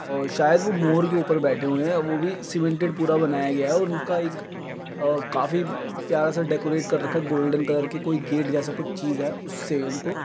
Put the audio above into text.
अ शायद वो मोर के ऊपर बैठे हुए है वो भी सीमेंटेड पूरा बनाया गया है। उनका एक अ काफी प्यारा-सा डेकोरेट कर रखा है गोल्डन कलर के कोई गेट जैसा कुछ चीज है उससे उनको --